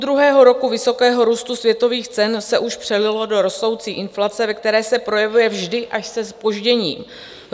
Půldruhého roku vysokého růstu světových cen se už přelilo do rostoucí inflace, ve které se projevuje vždy až se zpožděním.